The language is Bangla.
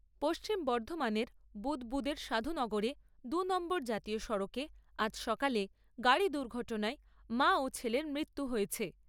পশ্চিম বর্ধমানের বুদবুদের সাধুনগরে দু'নম্বর জাতীয় সড়কে আজ সকালে গাড়ি দুর্ঘটনায় মা ও ছেলের মৃত্যু হয়েছে।